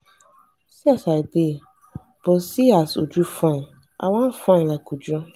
see as i dey but seeas uju fine. i wan fine like uju.